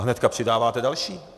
A hnedka přidáváte další.